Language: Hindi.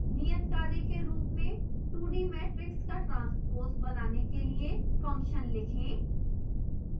नियत कार्य के रूप में 2d matrix का transpose बनाने के लिए function लिखें